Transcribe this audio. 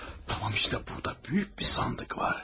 Tamam, işte burada böyük bir sandıq var.